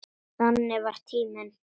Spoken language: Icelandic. Þannig var tíminn.